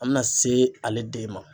An bɛna se ale den ma.